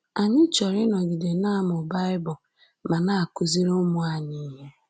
Anyị chọrọ ịnọgide na-amụ Bible ma na-akụziri ụmụ anyị ihe